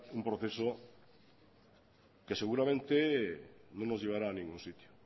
un proceso que seguramente no nos llevará a ningún sitio